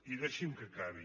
i deixi’m que acabi